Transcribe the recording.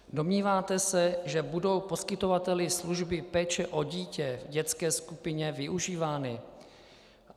Domníváte se, že budou poskytovateli služby péče o dítě v dětské skupině využívány?